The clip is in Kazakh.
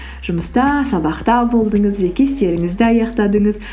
жұмыста сабақта болдыңыз жеке істеріңізді аяқтадыңыз